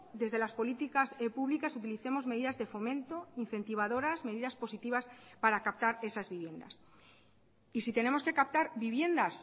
desde las políticas públicas utilicemos medidas de fomento incentivadoras medidas positivas para captar esas viviendas y si tenemos que captar viviendas